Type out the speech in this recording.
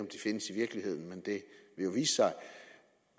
de findes i virkeligheden men det vil jo vise sig